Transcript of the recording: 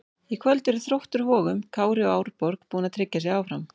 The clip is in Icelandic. Í kvöld eru Þróttur Vogum, Kári og Árborg búin að tryggja sig áfram.